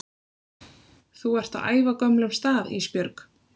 Þú ert á ævagömlum stað Ísbjörg